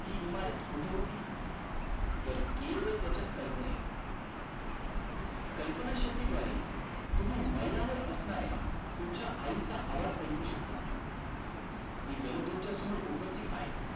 हि इमारत कुठे होती तर केवळ त्याच्या कल्पनेत कल्पना शक्ती द्वारे तुम्ही मैला वर असणाऱ्या तुमच्या आई चा आवाज ऐकू शकता ती जणू तुमच्या समोर उपस्तिथ आहे